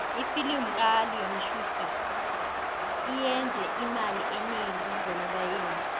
ifilimu kaleon schuster iyenze imali enengi ngonobayeni